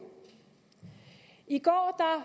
i går